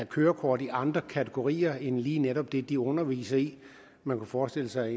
kørekort i andre kategorier end lige netop det de underviser i man kunne forestille sig